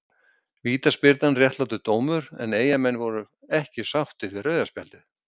Vítaspyrnan réttlátur dómur en eyjamenn voru ekki sáttir við rauða spjaldið.